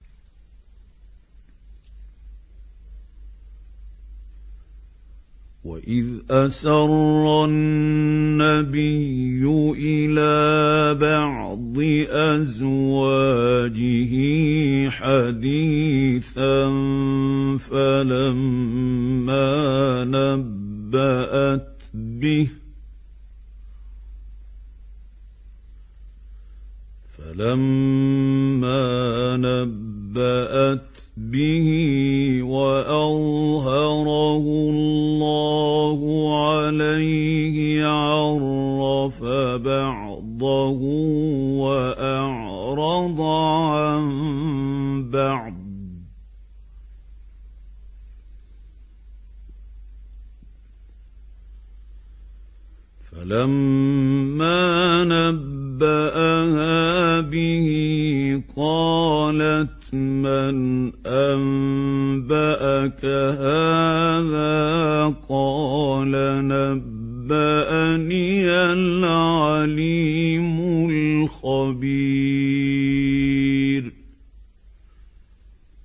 وَإِذْ أَسَرَّ النَّبِيُّ إِلَىٰ بَعْضِ أَزْوَاجِهِ حَدِيثًا فَلَمَّا نَبَّأَتْ بِهِ وَأَظْهَرَهُ اللَّهُ عَلَيْهِ عَرَّفَ بَعْضَهُ وَأَعْرَضَ عَن بَعْضٍ ۖ فَلَمَّا نَبَّأَهَا بِهِ قَالَتْ مَنْ أَنبَأَكَ هَٰذَا ۖ قَالَ نَبَّأَنِيَ الْعَلِيمُ الْخَبِيرُ